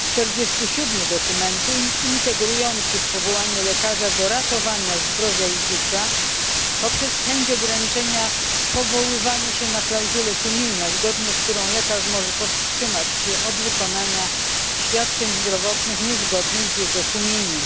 47 dokumentu ingerujący w powołanie lekarza do ratowania zdrowia i życia poprzez chęć ograniczenia powoływania się na klauzulę sumienia, zgodnie z którą lekarz może powstrzymać się od wykonania świadczeń zdrowotnych niezgodnych z jego sumieniem.